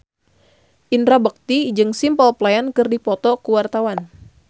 Indra Bekti jeung Simple Plan keur dipoto ku wartawan